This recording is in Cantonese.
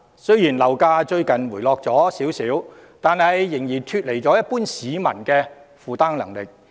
雖然樓價最近有輕微回落，但仍然脫離一般市民的負擔能力。